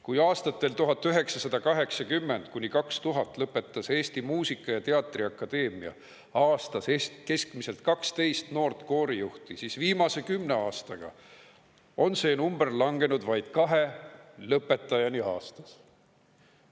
Kui aastatel 1980–2000 lõpetas Eesti Muusika‑ ja Teatriakadeemia aastas keskmiselt 12 noort koorijuhti, siis viimase 10 aastaga on see number langenud vaid 2 lõpetajani aastas.